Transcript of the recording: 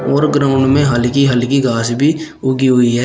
और ग्राउंड में हल्की हल्की घास भी उगी हुई है।